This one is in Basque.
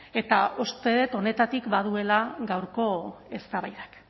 eta uste dut honetatik baduela gaurko eztabaidak